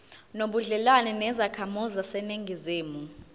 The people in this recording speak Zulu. nobudlelwane nezakhamizi zaseningizimu